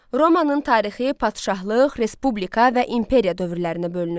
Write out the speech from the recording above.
Romanın tarixi padşahlıq, Respublika və imperiya dövrlərinə bölünür.